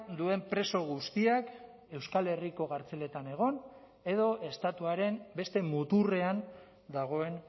duen preso guztiak euskal herriko kartzeletan egon edo estatuaren beste muturrean dagoen